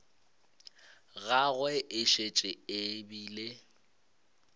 gagwe e šetše e bile